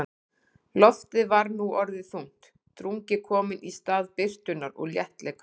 Loftið var nú orðið þungt, drungi kominn í stað birtunnar og léttleikans.